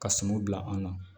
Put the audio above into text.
Ka suman bila an na